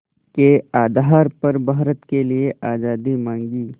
के आधार पर भारत के लिए आज़ादी मांगी